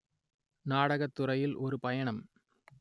நாடகத் துறையில் ஒரு பயணம்